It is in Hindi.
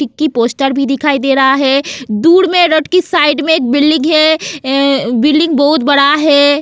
की पोस्टर भी दिखाई दे रहा है दूर में रोड की साइड में एक बिल्डिंग है बिल्डिंग बहुत बड़ा है.